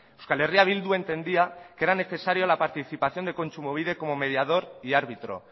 euskal herria bildu entendía que era necesario la participación de kontsumobide como mediador y árbitro